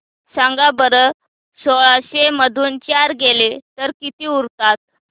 सांगा बरं सोळाशे मधून चार गेले तर किती उरतात